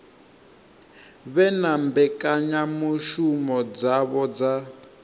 vhe na mbekanyamushumo dzavho dza